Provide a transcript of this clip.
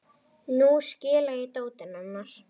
Nú skila ég dótinu hennar